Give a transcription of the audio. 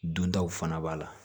Duntaw fana b'a la